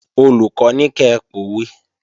Olùkọ́ ní kẹ pòwe!